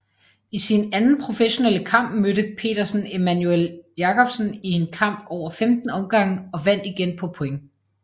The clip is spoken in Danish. I sin anden professionelle kamp mødte Petersen Emanuel Jacobsen i en kamp over 15 omgange og vandt igen på point